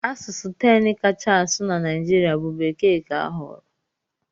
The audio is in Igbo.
Asụsụ 10 kacha asụ na Naịjirịa bụ Bekee ka a họọrọ.